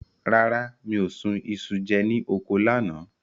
Rárá, mi ò sun iṣu jẹ ní oko lánàá.